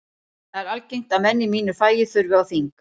Það er algengt að menn í mínu fagi þurfi á þing.